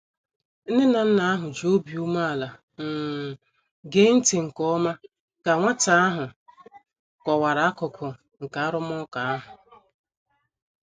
Nne na nna ahụ ji obi umeala um gee ntị nke ọma ka nwata ahụ kọwara akụkụ nke arụmụka ahụ.